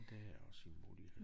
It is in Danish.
Det er også en mulighed